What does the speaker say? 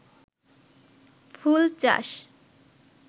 ফুল চাষ